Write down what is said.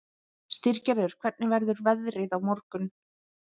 Styrgerður, hvernig verður veðrið á morgun?